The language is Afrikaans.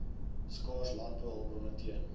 skaars landbouhulpbronne teen